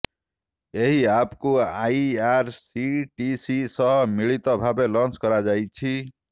ଏହି ଆପକୁ ଆଇଆରସିଟିସି ସହ ମିଳିତ ଭାବେ ଲଞ୍ଚ କରାଯାଇଛି